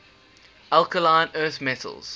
alkaline earth metals